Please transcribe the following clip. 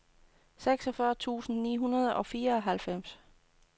seksogfyrre tusind ni hundrede og fireoghalvfems